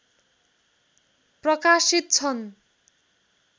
प्रकाशित छन्